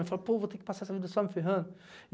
Ele fala, pô, vou ter que passar essa vida só me ferrando.